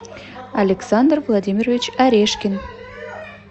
александр владимирович орешкин